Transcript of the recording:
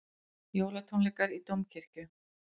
Jólatónleikar í Dómkirkju